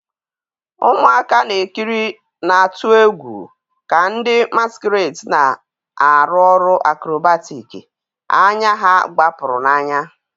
Ụmụaka na-ekiri na-atụ egwu ka ndị masquerades na-arụ ọrụ acrobatic, anya ha gbapụrụ n'anya.